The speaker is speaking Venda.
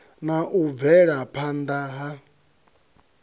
na u bvela phana ha